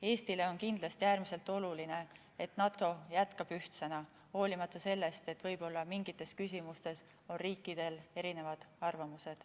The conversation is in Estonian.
Eestile on kindlasti äärmiselt oluline, et NATO jätkab ühtsena, hoolimata sellest, et mingites küsimustes võivad riikidel olla erinevad arvamused.